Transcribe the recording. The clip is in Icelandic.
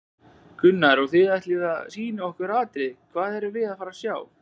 Gunnar: Og þið ætlið að sýna okkur atriði, hvað erum við að fara að sjá?